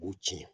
U b'u ci